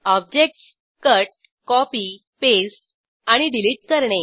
objects cut copy paste आणि delete करणे